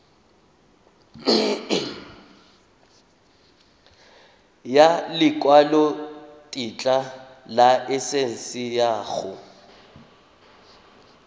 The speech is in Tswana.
ya lekwalotetla laesense ya go